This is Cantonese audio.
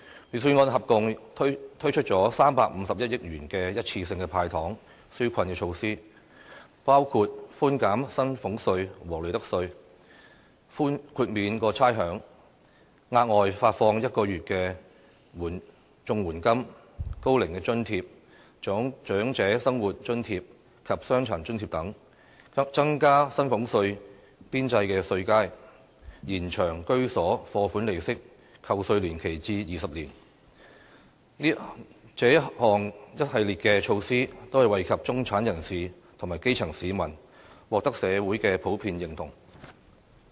預算案合共推出351億元的一次性"派糖"紓困措施，包括寬減薪俸稅和利得稅、豁免差餉、額外發放1個月的綜合社會保障援助金、高齡津貼、長者生活津貼及傷殘津貼等；增加薪俸稅邊際稅階、延長居所貸款利息扣稅年期至20年，這一系列措施，均惠及中產人士和基層市民，獲得社會的普遍認同。